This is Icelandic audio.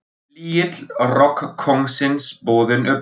Flygill rokkkóngsins boðinn upp